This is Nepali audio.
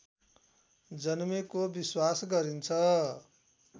जन्मेको विश्वास गरिन्छ